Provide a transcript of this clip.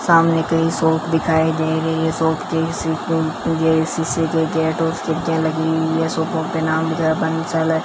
सामने कई शॉप दिखाई दे रही है शॉप के शीशे के गेट और खिड़खियां लगे हुई है शोपो के नाम --